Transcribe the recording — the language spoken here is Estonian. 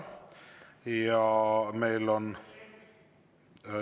Ja meil on …